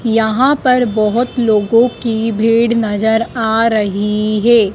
यहाँ पर बहोत लोगों की भीड़ नजर आ रहीं हैं।